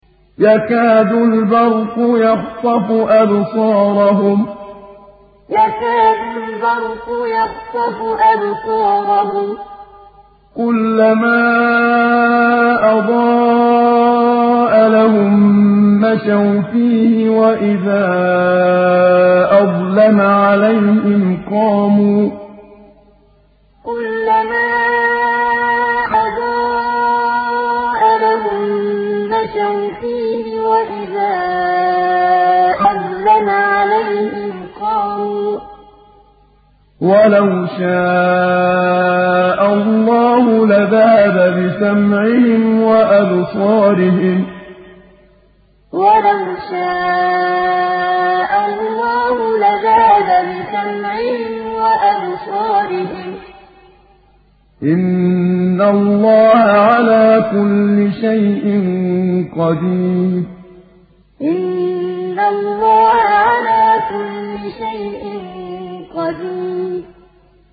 يَكَادُ الْبَرْقُ يَخْطَفُ أَبْصَارَهُمْ ۖ كُلَّمَا أَضَاءَ لَهُم مَّشَوْا فِيهِ وَإِذَا أَظْلَمَ عَلَيْهِمْ قَامُوا ۚ وَلَوْ شَاءَ اللَّهُ لَذَهَبَ بِسَمْعِهِمْ وَأَبْصَارِهِمْ ۚ إِنَّ اللَّهَ عَلَىٰ كُلِّ شَيْءٍ قَدِيرٌ يَكَادُ الْبَرْقُ يَخْطَفُ أَبْصَارَهُمْ ۖ كُلَّمَا أَضَاءَ لَهُم مَّشَوْا فِيهِ وَإِذَا أَظْلَمَ عَلَيْهِمْ قَامُوا ۚ وَلَوْ شَاءَ اللَّهُ لَذَهَبَ بِسَمْعِهِمْ وَأَبْصَارِهِمْ ۚ إِنَّ اللَّهَ عَلَىٰ كُلِّ شَيْءٍ قَدِيرٌ